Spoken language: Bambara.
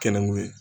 Kɛnɛ mun ye